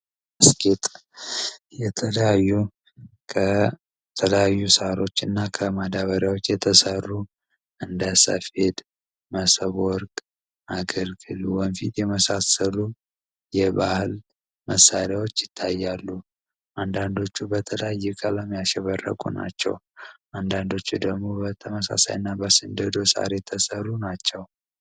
አስጥ የከተዳዩ ሳሮች እና ከማዳበሪያዎች የተሠሩ እንደ ሰፌድ መሰብወርግ አገርግሉ ወንፊት የመሳሰሉ የባህል መሳሪያዎች ይታያሉ አንዳንዶቹ በተዳየ ቀለም ያሽበረጉ ናቸው አንዳንዶቹ ደግሙ በተመሳሳይ እና በስንድዶ ሳር የተሰሩ ናቸው